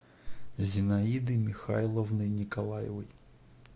зинаиды михайловны николаевой